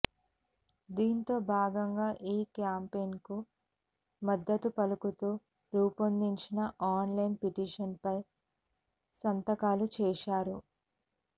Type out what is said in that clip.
ఇందులో భాగంగా ఈ క్యాంపెయిన్కు మద్దతు పలుకుతూ రూపొందించిన ఆన్లైన్ పిటిషన్పై సంతకాలు చేశారు